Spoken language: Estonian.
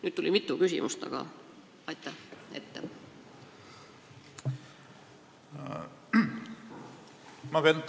Nüüd tuli mitu küsimust, aga aitäh juba ette!